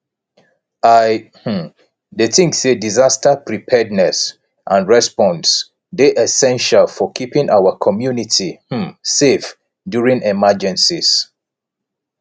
i um dey think say disaster preparedness and response dey essential for keeping our community um safe during emergencies